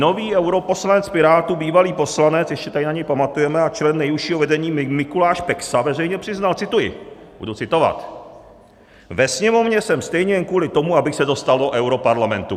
Nový europoslanec Pirátů, bývalý poslanec, ještě tady na něj pamatujeme, a člen nejužšího vedení Mikuláš Peksa veřejně přiznal - cituji, budu citovat: "Ve Sněmovně jsem stejně jen kvůli tomu, abych se dostal do europarlamentu."